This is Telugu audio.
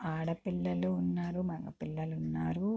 ఆడ పిల్ల ఉన్నారు మెగ పిల్లలు ఉన్నారు.